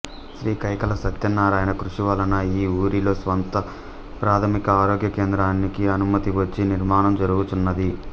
శ్రీకైకాల సత్యనారాయణ కృషి వలన ఈ వూరిలో స్వంత ప్రాథమిక ఆరోగ్య కేంద్రానికి అనుమతి వచ్చి నిర్మాణం జరుగుచున్నది